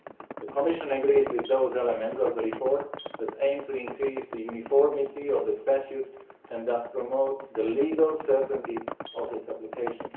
The Commission agrees with those elements of the report that aim to increase the uniformity of the statute and thus promote the legal certainty of its application.